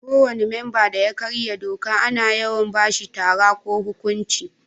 Ko wani memban da ya karya doka ana yawan ba shi tara ko huƙunci.